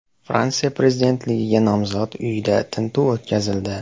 Fransiya prezidentligiga nomzod uyida tintuv o‘tkazildi.